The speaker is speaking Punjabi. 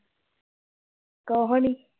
ਕੁਸ਼ ਵੀ ਨੀ